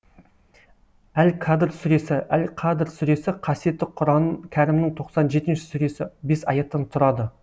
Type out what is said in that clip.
әл қадр сүресі әл қадр сүресі қасиетті құран кәрімнің тоқсан жетінші сүресі бес аяттан тұрады